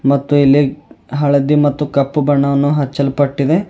ಮತ್ತು ಇಲ್ಲಿ ಹಳದಿ ಮತ್ತು ಕಪ್ಪು ಬಣ್ಣವನ್ನು ಅಚ್ಚಲ್ಪಟ್ಟಿದೆ.